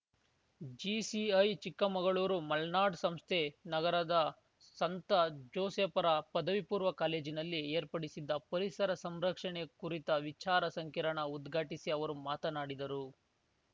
GCI Chikkamagaluru Malnad ಸಂಸ್ಥೆ ನಗರದ ಸಂತ ಜೋಸೇಫರ ಪದವಿಪೂರ್ವ ಕಾಲೇಜಿನಲ್ಲಿ ಏರ್ಪಡಿಸಿದ್ದ ಪರಿಸರ ಸಂರಕ್ಷಣೆ ಕುರಿತ ವಿಚಾರ ಸಂಕಿರಣ ಉದ್ಘಾಟಿಸಿ ಅವರು ಮಾತನಾಡಿದರು